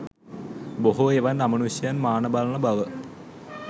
බොහෝ එවන් අමනුෂ්‍යයන් මාන බලන බව